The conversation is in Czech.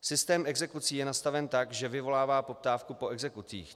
Systém exekucí je nastaven tak, že vyvolává poptávku po exekucích.